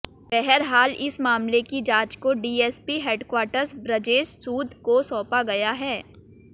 बहरहाल इस मामले की जांच को डीएसपी हैडक्वार्टर ब्रजेश सूद को सौंपा गया है